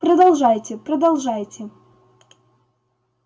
продолжайте продолжайте